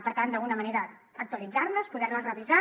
per tant d’alguna manera actualitzar les poder les revisar